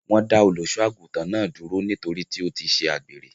Wọ́n dá Olùṣọ́-àgùntàn náà dúró nítorí tí ó ṣe àgbèrè.